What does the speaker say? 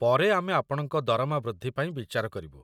ପରେ ଆମେ ଆପଣଙ୍କ ଦରମା ବୃଦ୍ଧି ପାଇଁ ବିଚାର କରିବୁ